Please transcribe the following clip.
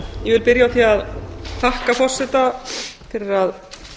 ég vil byrja á því að þakka forseta fyrir að